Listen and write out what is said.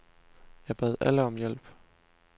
Jeg bad alle om hjælp.